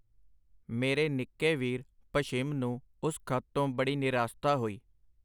ਮੇਰੇ ਨਿੱਕੇ ਵੀਰ, ਭਸ਼ਿਮ ਨੂੰ ਉਸ ਖਤ ਤੋਂ ਬੜੀ ਨਿਰਾਸਤਾ ਹੋਈ.